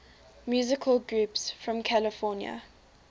musical groups from california